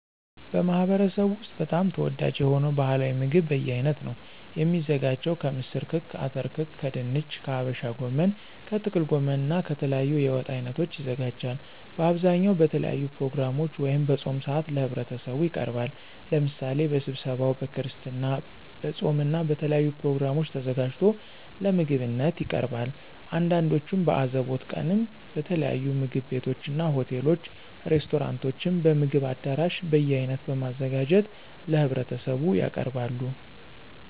በማህበረሰቡ ወስጥ በጣም ተወዳጅ የሆነው ባህላዊ ምግብ በየአይነት ነው። የሚዘጋጀው ከምስር ክክ፣ አተር ክክ ከድንች፣ ከሀበሻ ጎመን፣ ከጥቅል ጎመን እና ከተለያዩ የወጥ አይነቶች ይዘጋጃል። በአብዛኛው በተለያዩ ፕሮግራሞች ወይም በፆም ሰአት ለህብረተሰቡ ይቀርባል። ለምሳሌ በስብሰባው፣ በክርስትና፣ በፆም እና በተለያዩ ፕሮግራሞች ተዘጋጅቶ ለምግብነት ይቀርባል። አንዳንዶቹም በአዘቦት ቀንም በተለያዩ ምግብ ቤቶችና፣ ሆቴሎች፣ ሬስቶራንቶችም፣ በምግብ አዳራሽ በየአይነት በማዘጋጀት ለህብረተሰቡ ያቀርባሉ።